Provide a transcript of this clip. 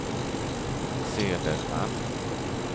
Söderman